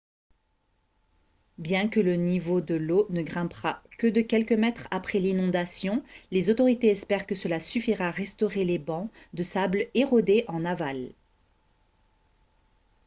bien que le niveau de l'eau ne grimpera que de quelques mètres après l'inondation les autorités espèrent que cela suffira à restaurer les bancs de sable érodés en aval